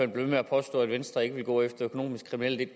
ved med at påstå at venstre ikke vil gå efter økonomisk kriminelle